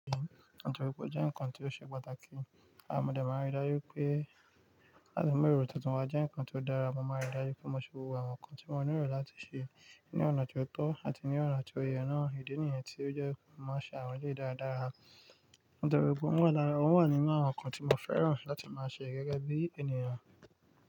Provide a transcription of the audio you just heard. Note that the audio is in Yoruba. Nítorí pé ó jẹ́ ǹkan tó ṣe pàtàkì, mo de máa ń rí dájú pé láti mú èrò tuntun wá jẹ́ ǹkan tó dára. Wọn máa ń rí dájú pé mo se gbogb ǹkan tí mo nílò láti ṣe ní ọ̀nà tó tọ́ àti ní ọ̀nà tó yẹ. Ọ̀nà ìdí nìyẹn tí ó jẹ́ kí wọ́n má ṣe àwọn ilé dáradára. Nítorí pé wọ́n wà lára, wọ́n wà nínú àwọn ǹkan tí mo fẹ́ràn láti máa ṣe gẹ́gẹ́ bí ènìyàn.